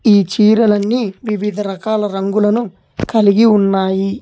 ఈ చీరలన్నీ వివిధ రకాల రంగులను కలిగి ఉన్నాయి